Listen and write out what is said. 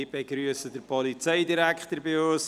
Ich begrüsse den Polizeidirektor bei uns.